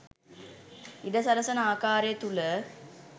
ඉඩ සලසන ආකාරය තුළ